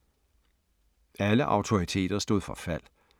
Alle autoriteter stod for fald